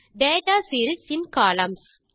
data series இன் columns